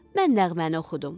Mən nəğməni oxudum.